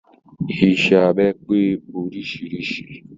Iṣẹ́ abẹ pé oríṣiríṣi.